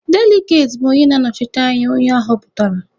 Deligati bụ onye na-anọchite anya onye aghọpụtara.